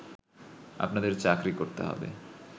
আপনাদের চাকরি করতে হবে